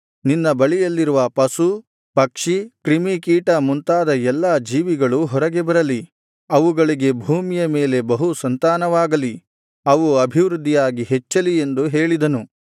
ನಿನ್ನ ಬಳಿಯಲ್ಲಿರುವ ಪಶು ಪಕ್ಷಿ ಕ್ರಿಮಿಕೀಟ ಮುಂತಾದ ಎಲ್ಲಾ ಜೀವಿಗಳೂ ಹೊರಗೆ ಬರಲಿ ಅವುಗಳಿಗೆ ಭೂಮಿಯ ಮೇಲೆ ಬಹು ಸಂತಾನವಾಗಲಿ ಅವು ಅಭಿವೃದ್ಧಿಯಾಗಿ ಹೆಚ್ಚಲಿ ಎಂದು ಹೇಳಿದನು